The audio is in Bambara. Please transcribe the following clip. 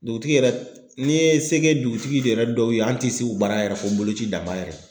Dugutigi yɛrɛ, n'i ye se kɛ dugutigi yɛrɛ dɔw ye an ti se u baara yɛrɛ ko boloci dan ma yɛrɛ.